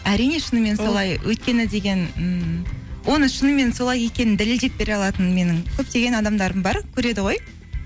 әрине шынымен солай өйткені деген ммм оны шынымен солай екенін дәлелдеп бере алатын менің көптеген адамдарым бар көреді ғой